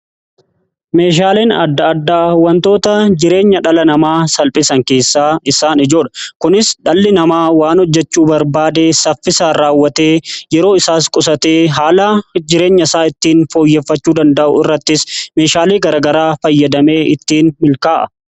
Meeshaaleen adda-addaa wantoota jireenya dhala namaa salphisan keessaa isaan ijoodha. Kunis dhalli namaa waan hojjechuu barbaade saffisaan raawwatee yeroo isaas qusatee haala jireenya isaa ittiin fooyyeffachuu danda'u irrattis meeshaalee garaagaraa fayyadamee ittiin milkaa'a.